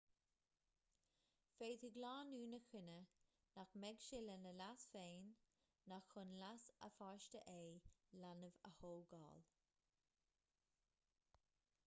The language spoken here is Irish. féadfaidh lánúin a chinneadh nach mbeadh sé lena leas féin ná chun leas a pháiste é leanbh a thógáil